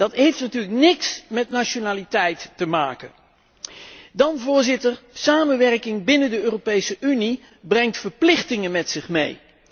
Dat heeft natuurlijk niks met nationaliteit te maken. Dan, Voorzitter, samenwerking binnen de Europese Unie brengt verplichtingen met zich mee.